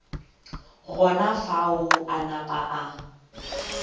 gona fao a napa a